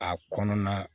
A kɔnɔna